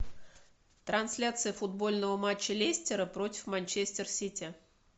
трансляция футбольного матча лестера против манчестер сити